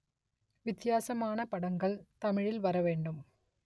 வித்தியாசமான படங்கள் தமிழில் வர வேண்டும்